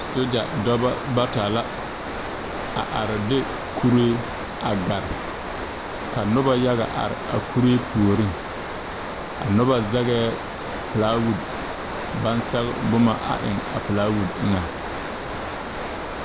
Sogya dɔbɔ bata la a are de kuree a de gare ka nobɔ yaga are a kuri puoriŋ a nobɔ zegɛɛ pilaawud baŋ sɛge bomma a eŋ a pilaawud eŋɛŋ.